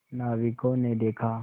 नाविकों ने देखा